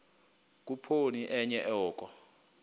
khuphoni enye oko